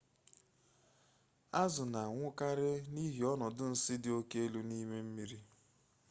azụ na anwụkwarị n'ihi ọnọdụ nsi dị oke elu n'ime mmiri